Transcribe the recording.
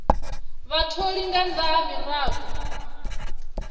vhatholi nga nnḓa ha miraḓo